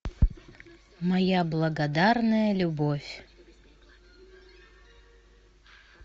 моя благодарная любовь